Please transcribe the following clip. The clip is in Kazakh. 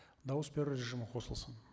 дауыс беру режимі қосылсын